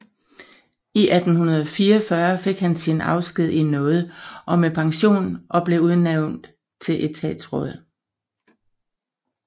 I 1844 fik han sin afsked i nåde og med pension og blev udnævnt til etatsråd